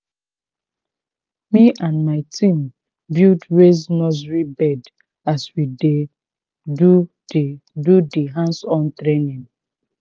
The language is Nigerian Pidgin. me and my team build raised nursery bed as we dey do dey do the hands on training.